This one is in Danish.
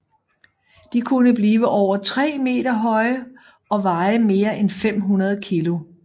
De kunne blive over 3 meter høje og veje mere end 500 kilo